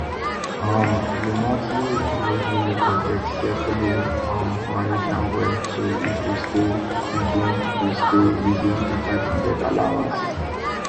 um di montly grocery budget carefully um manage am well so e go stay within go stay within di five hundred allowance